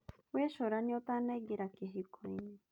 Wĩcuranie ũtanaingĩra kĩhiko-inĩ